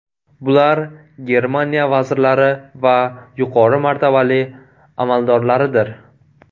Bular – Germaniya vazirlari va yuqori martabali amaldorlaridir.